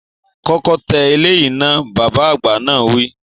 Kọ́kọ́ tẹ eléyìí náà, Bàbá àgbà náà wi